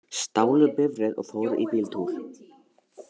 Stálu bifreið og fóru í bíltúr